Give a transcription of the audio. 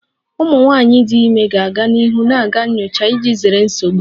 Ụmụ nwanyị dị ime ga-aga n'ihu na-aga nyocha iji zere nsogbu